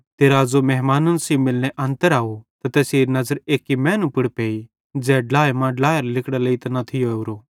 ते राज़ो मेहमान सेइं मिलने अन्तर आव त तैसेरी नज़र एक्की मैनू पुड़ पेई ज़ै ड्लाए मां ड्लेरां लिगड़ां लेइतां न थियो ओरो